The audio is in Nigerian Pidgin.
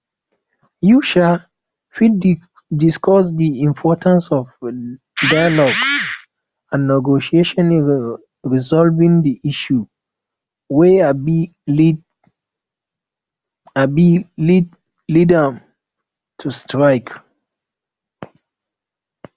you um fit discuss di importance of dialogue and negotiation in resolving di issues wey um led um led um to strike